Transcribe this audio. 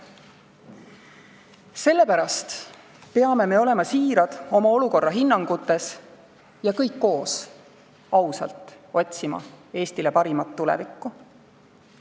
Sellepärast peame olema siirad oma olukorrahinnangutes ja kõik koos ausalt otsima Eestile parimat tulevikku.